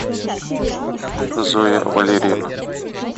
зоя валерьевна